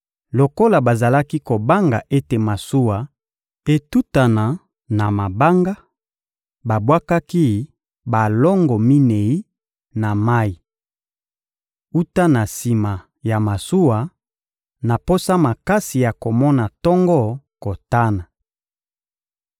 Lokola bazalaki kobanga ete masuwa etutana na mabanga, babwakaki balongo minei na mayi wuta na sima ya masuwa, na posa makasi ya komona tongo kotana.